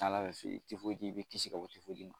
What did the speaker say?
tifoyidi i bɛ kisi ka bɔ tifoyidi ma.